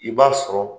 I b'a sɔrɔ